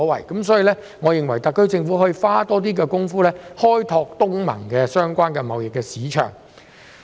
因此，我認為特區政府可多下工夫，開拓與東盟相關的貿易市場。